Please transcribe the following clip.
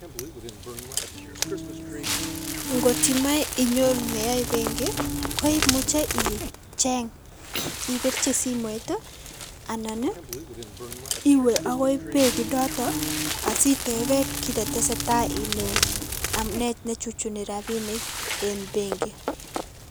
Ng'ot imoe inyoru neyoe benki koimuche icheng ibirchi simoit anan iwee akoii benki inoton asiteben kiit netesetaa ilee amunee nechuchuchi rabinik en benki.